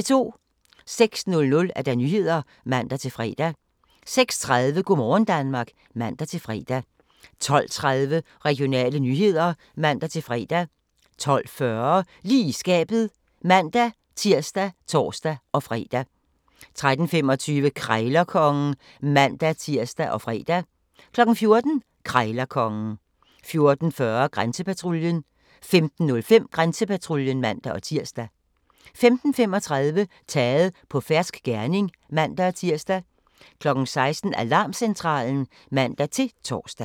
06:00: Nyhederne (man-fre) 06:30: Go' morgen Danmark (man-fre) 12:30: Regionale nyheder (man-fre) 12:40: Lige i skabet (man-tir og tor-fre) 13:25: Krejlerkongen (man-tir og fre) 14:00: Krejlerkongen 14:40: Grænsepatruljen 15:05: Grænsepatruljen (man-tir) 15:35: Taget på fersk gerning (man-tir) 16:00: Alarmcentralen (man-tor)